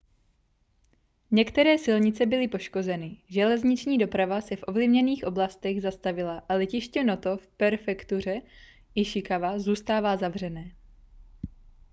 některé silnice byly poškozeny železniční doprava se v ovlivněných oblastech zastavila a letiště noto v prefektuře ishikawa zůstává zavřené